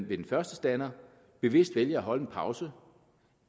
ved den første stander bevidst vælger at holde en pause